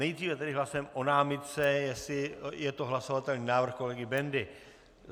Nejdříve tedy hlasujeme o námitce, jestli je to hlasovatelný návrh, kolegy Bendy.